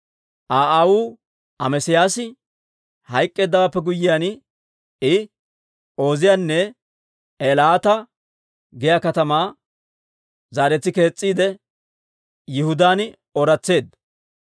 Aa aawuu Amesiyaasi hayk'k'eeddawaappe guyyiyaan, I Ooziyaane Eelaata giyaa katamaa zaaretsi kees's'iide, Yihudaan ooratseedda.